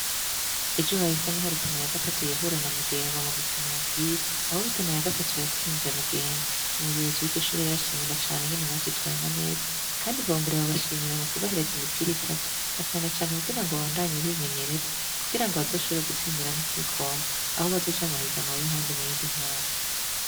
Ejo hahise niho Rutana ya gatatu yahura na Mugeme mu gukina umupira, aho Rutana ya gatatu yatsinze Mugeme, umuyobozi w'iryo shure rero arabashimira cane ingene bavyitwayemwo neza kandi bongera babashimira mu kubahereza imipira itatu na cane cane kugira ngo babandanye bimenyereza kugira ngo bazoshobore gutsindira n'igikombe, aho bazoja mu mahiganwa y'ahandi mu yindi ntara.